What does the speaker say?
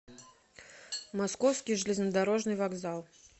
московский железнодорожный вокзал